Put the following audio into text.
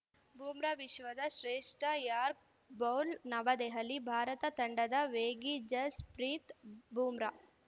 ಬೂಮ್ರಾ ವಿಶ್ವದ ಶ್ರೇಷ್ಠ york bowl New Delhi Bharat ತಂಡದ ವೇಗಿ ಜಸ್‌ಪ್ರೀತ್‌ ಬೂಮ್ರಾ